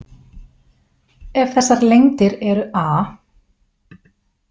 Ef þessar lengdir eru a.